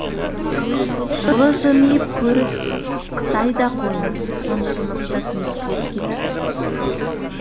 жылы жымиып көріс қытай да қойны қоншымызды тіміскілеп кетті